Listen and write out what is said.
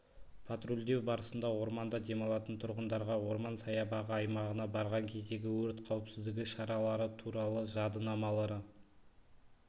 патрульдеу барысында орманда демалатын тұрғындарға орман саябағы аймағына барған кездегі өрт қауіпсіздігі шаралары туралы жадынамалары